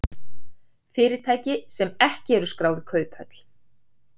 Fyrirtæki sem ekki eru skráð í kauphöll